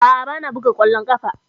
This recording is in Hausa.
A'a, ba na buga ƙwallon ƙafa.